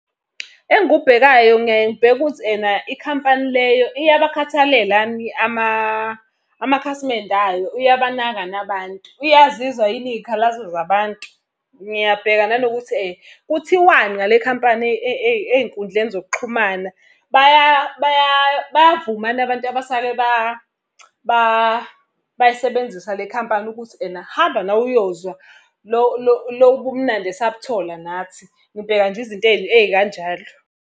Engikubhekayo ngiyaye ngibheke ukuthi ena ikhampani leyo iyabakhathalela yini amakhasimende ayo uyabanakani abantu. Uyazizwa yini iy'khalazo zabantu? Ngiyabheka nanokuthi kuthiwani ngale khampani ey'nkundleni zokuxhumana. Bayavumani abantu abasake bayisebenzisa le khampani ukuthi ena hamba nawe uyozwa lobu bumnandi esabuthola nathi. Ngibheka nje izinto ey'kanjalo.